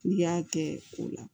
N'i y'a kɛ o la